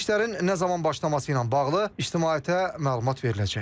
İşlərin nə zaman başlaması ilə bağlı ictimaiyyətə məlumat veriləcək.